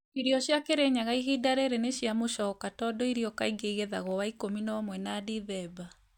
Irio cia kĩrĩnyaga ihinda rĩrĩ nĩ cia mũcooka tondũ irio kaingĩ igethagwo Novemba na Disemba